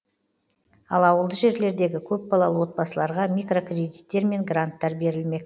ал ауылды жерлердегі көпбалалы отбасыларға микрокредиттер мен гранттар берілмек